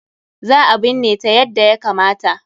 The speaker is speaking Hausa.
Za a binne ta yadda ya kamata.